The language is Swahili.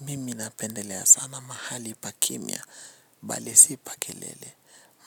Mimi napendelea sana mahali pakimya, bali sipa kelele.